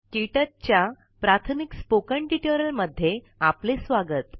क्टच च्या प्राथमिक स्पोकेन ट्युटोरियल मध्ये आपले स्वागत